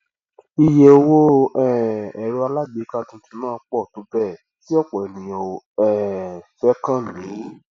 ìye owó um èrọ alágbèéká tuntun náà pọ tó bẹẹ tí ọpọ ènìyàn ò um fẹ kán kán lù ú